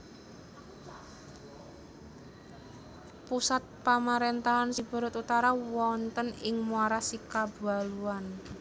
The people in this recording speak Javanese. Pusat pamarentahan Siberut Utara wonten ing Muara Sikabaluan